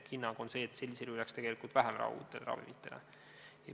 Ehk hinnang on see, et sellisel juhul jääks tegelikult vähem raha uutele ravimitele.